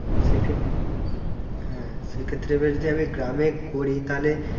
হ্যাঁ সে ক্ষেত্রে এবার যদি আমি গ্রামে করি তালে